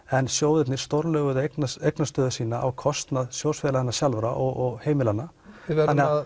en sjóðirnir eignarstöðu sína á kostnað sjóðsfélaganna sjálfra og heimilanna við